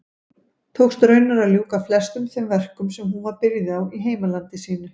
Tókst raunar að ljúka flestum þeim verkum sem hún var byrjuð á í heimalandi sínu.